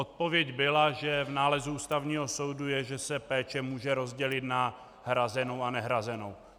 Odpověď byla, že v nálezu Ústavního soudu je, že se péče může rozdělit na hrazenou a nehrazenou.